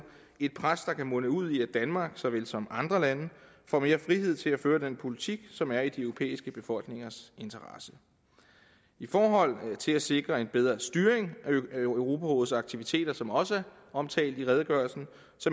et pres der kan munde ud i at danmark så vel som andre lande får mere frihed til at føre den politik som er i de europæiske befolkningers interesse i forhold til at sikre en bedre styring af europarådets aktiviteter som også er omtalt i redegørelsen